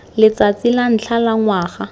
letsatsi la ntlha la ngwaga